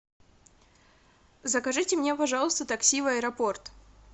закажите мне пожалуйста такси в аэропорт